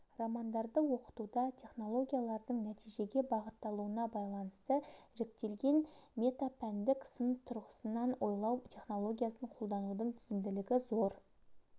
романдарды оқытуда технологиялардың нәтижеге бағытталуына байланысты жіктелген метапәндік сын тұрғысынан ойлау технологиясын қолданудың тиімділігі зор